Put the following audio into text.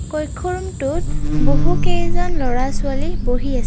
কক্ষ ৰমটোত বহুকেইজন লৰা ছোৱালী পঢ়ি আছে।